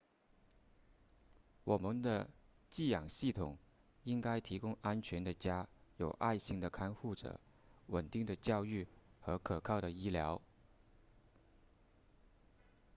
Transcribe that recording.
我们的寄养系统应该提供安全的家有爱心的看护者稳定的教育和可靠的医疗